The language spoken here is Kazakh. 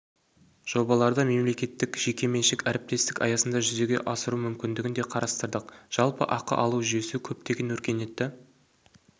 жобаларды мемлекеттік-жекеменшік әріптестік аясында жүзеге асыру мүмкіндігін де қарастырдық жалпы ақы алу жүйесі көптеген өркениетті